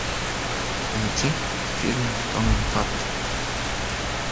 найти фильмы с томом харди